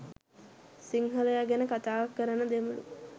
සිංහලය ගැන කතා කරන දෙමලු